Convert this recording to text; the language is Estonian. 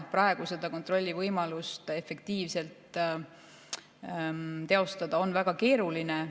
Praegu on seda kontrollivõimalust efektiivselt teostada väga keeruline.